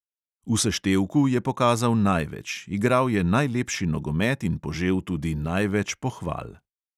V seštevku je pokazal največ, igral je najlepši nogomet in požel tudi največ pohval.